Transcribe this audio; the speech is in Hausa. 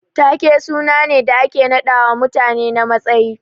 Taake suna ne da ake naɗawa mutane na matsayi.